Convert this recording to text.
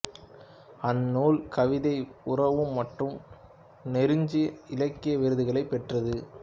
அந்நூல் கவிதை உறவு மற்றும் நெருஞ்சி இலக்கிய விருதுகளைப் பெற்றது